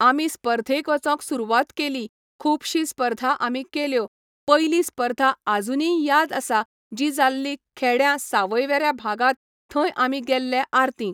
आमी स्पर्धेक वचोंक सुरवात केली खूबशी स्पर्धा आमी केल्यो पयली स्पर्धा आजुनीय याद आसा जी जाल्ली खेड्यां सावयवेऱ्यां भागात थंय आमी गेल्ले आरतींक